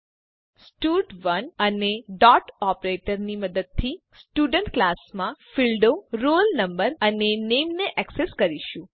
હવે આપણે સ્ટડ1 અને ડોટ ઓપરેટર ની મદદથી સ્ટુડન્ટ ક્લાસનાં ફીલ્ડો roll no અને નામે ને એક્સેસ કરીશું